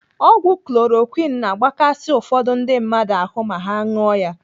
Ọgwụ chloroquine na-agbakasi ụfọdụ ndị mmadụ ahụ ma ha ṅụọ ya.